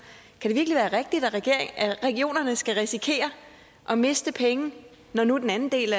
virkelig være rigtigt at regionerne skal risikere at miste penge når nu den anden del